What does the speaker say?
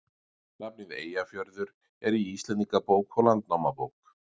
Nafnið Eyjafjörður er í Íslendingabók og Landnámabók.